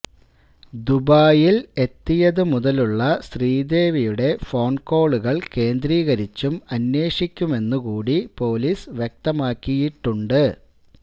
ദുബായ്യില് എത്തിയതു മുതലുള്ള ശ്രീദേവിയുടെ ഫോണ് കോളുകള് കേന്ദ്രീകരിച്ചും അന്വേഷിക്കുമെന്നു കൂടി പോലീസ് വ്യക്തമാക്കിയിട്ടുണ്ട്